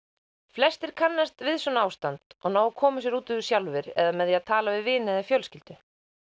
flestir kannast við svona ástand og ná að koma sér út úr sjálfir eða með því að tala við vini og fjölskyldu og